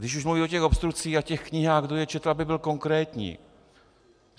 Když už mluví o těch obstrukcích a těch knihách, kdo je četl - aby byl konkrétní.